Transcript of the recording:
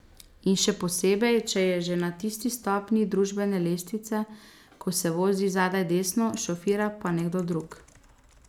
In še posebej, če je že na tisti stopnji družbene lestvice, ko se vozi zadaj desno, šofira pa nekdo drug.